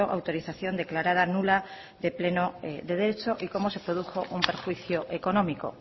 autorización declarada nula de pleno de derecho y cómo se produjo un perjuicio económico